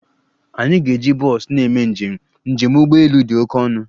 Anyị ga-eji bọs na-eme njem, njem ụgbọ elu dị oke ọnụ